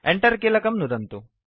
Enter कीलकं नुदन्तु